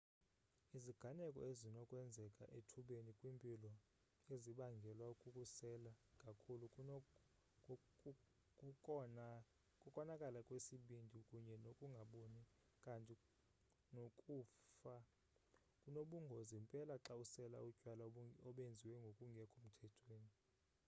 iziganeko ezinokwenzeka ethubeni kwimpilo ezibangelwa kukusela kakhulu kukonakala kwesibindi kunye nokungaboni kanti nokufa kunobungozi mpela xa usela utywala obenziwa ngokungekho mthethweni